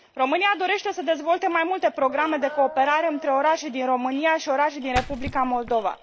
România dorește să dezvolte mai multe programe de cooperare între orașe din România și orașe din Republica Moldova.